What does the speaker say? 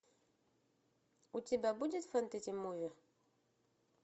у тебя будет фэнтези муви